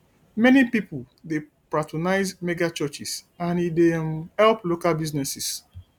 many pipo dey patronize megachurches and e dey um help local businesses